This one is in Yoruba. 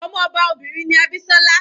Ọmọ ọba obìnrin ni Abisola.